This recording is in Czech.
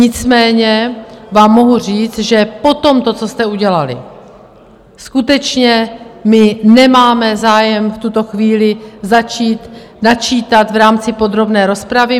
Nicméně vám mohu říct, že po tomto, co jste udělali, skutečně my nemáme zájem v tuto chvíli začít načítat v rámci podrobné rozpravy.